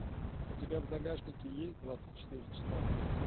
у тебя в загашнике есть двадцать четыре часа